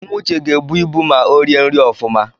Nwa uche ga-ebu ịbụ ma o rie nri ofụma